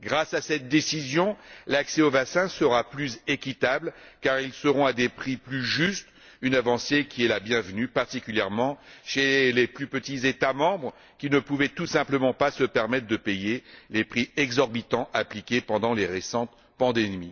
Grâce à cette décision, l'accès aux vaccins sera plus équitable car ceux ci seront à des prix plus justes, une avancée qui est la bienvenue, particulièrement chez les plus petits États membres, qui ne pouvaient tout simplement pas se permettre de payer les prix exorbitants pratiqués pendant les récentes pandémies.